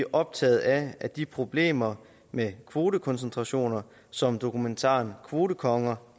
optaget af at de problemer med kvotekoncentrationer som dokumentaren kvotekonger